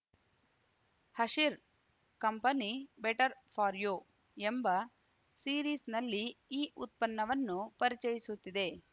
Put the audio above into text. ಹಷಿರ್ company better for you ಎಂಬ ಸೀರೀಸ್‌ನಲ್ಲಿ ಈ ಉತ್ಪನ್ನವನ್ನು ಪರಿಚಯಿಸುತ್ತಿದೆ